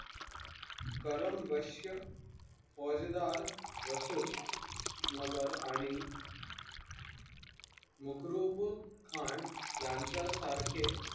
कर्मबश्य मोजदार रशुल्ला नगर आणि मुक्रबखान यांच्या सारखे